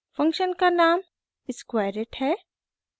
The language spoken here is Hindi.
फंक्शन का नाम squareit है